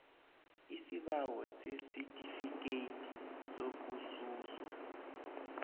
isibawo sesitifikhethi sokususwa